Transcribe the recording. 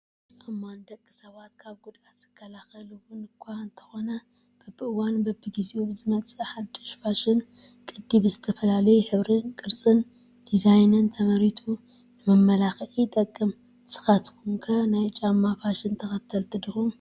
ጫማ፡- ንደቂ ሰባት ካብ ጉድኣት ዝከላኸል እውን እኳ እንተኾነ በብዋኑን በቢጊዜኡን ብዝመፅእ ሓዱሽ ፋሽን ቅዲ ብዝተፈላለየ ሕብሪ፣ ቅርፂን ዲዛይንን ተመሪቱ ንመመላኽዒ ይጠቅም ፡፡ ንስኻትኩ ከ ናይ ጫማ ፋሽን ተኸልቲ ዲኹም?